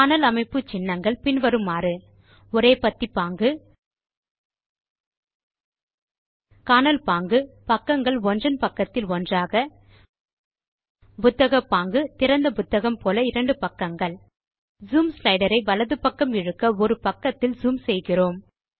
காணல் அமைப்பு சின்னங்கள் பின் வருமாறு ஒரே பத்தி பாங்கு காணல் பாங்கு பக்கங்கள் ஒன்றன் பக்கத்தில் ஒன்றாக புத்தகப் பாங்கு திறந்த புத்தகம் போல இரண்டு பக்கங்கள் ஜூம் ஸ்லைடர் ஐ வலது பக்கம் இழுக்க ஒரு பக்கத்தில் ஜூம் செய்கிறோம்